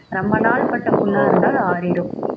ரொம்ப நாள் பட்ட புண்ணா இருந்தாலும் ஆறிடும்